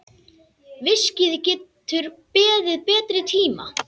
Viskíið getur beðið betri tíma.